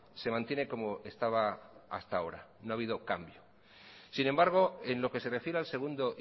se mantiene como estaba hasta ahora no ha habido cambio sin embargo en lo que se refiere al segundo